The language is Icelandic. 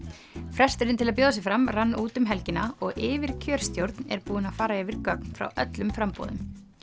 fresturinn til að bjóða sig fram rann út um helgina og yfirkjörstjórn er búin að fara yfir gögn frá öllum framboðum